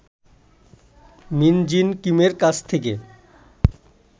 মিন Jin কিমের কাছ থেকে